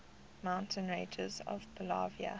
mountain ranges of bolivia